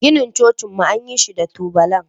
Ginin cocinmu an yi shi da tubalan.